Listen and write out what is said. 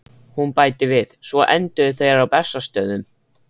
Hún bætir við: Svo enduðu þeir á Bessastöðum